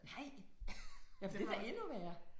Nej. Jamen det er da endnu værre